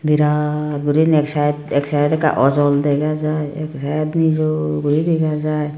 biraat gurinek side ek side ekka ojol dega jai ek side nijo guri dega jai.